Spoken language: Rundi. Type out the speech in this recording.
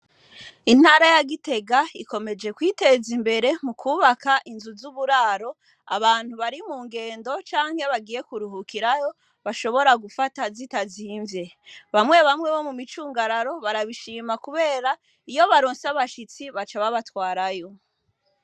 Intara ya Gitega ikomeje kwiteza imbere mukwubaka inzu z'uburaro, abantu bari mu ngendo canke iyo bagiye kuruhukiraho, bashoboye gufata zitazivye. Bamwe bamwe bo mu micungararo barabishima kubera ko iyo baronse abashitsi baca babatwarayo.